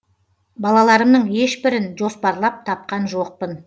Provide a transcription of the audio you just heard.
балаларымның ешбірін жоспарлап тапқан жоқпын